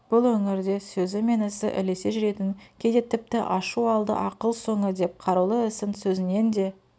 бұл өңірде сөзі мен ісі ілесе жүретін кейде тіпті ашу алды ақыл соңы деп қарулы ісін сөзінен де